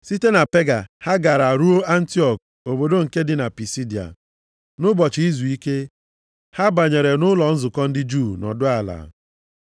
Site na Pega ha gara ruo Antiọk obodo nke dị na Pisidia. Nʼụbọchị izuike, ha banyere nʼụlọ nzukọ ndị Juu nọdụ ala.